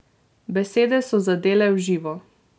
Besede so zadele v živo.